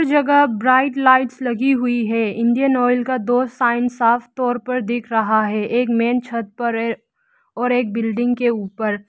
जगह bright lights लगी हुई है इंडियन ऑयल का दो साइन साफ तौर पर दिख रहा है एक मेन छत पर है और एक बिल्डिंग के ऊपर।